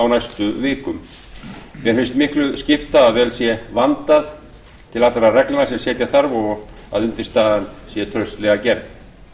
á næstu vikum mér finnst miklu skipta að vel sé vandað til allra reglna sem setja þarf og undirstaðan sé traustlega gerð